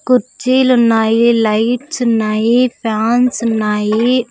కుర్చీలు ఉన్నాయి లైట్స్ ఉన్నాయి ఫ్యాన్స్ ఉన్నాయి.